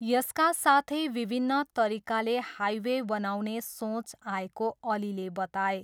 यसका साथै विभिन्न तरिकाले हाइवे बनाउने सोच आएको अलीले बताए।